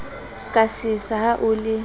ka sesa ha o le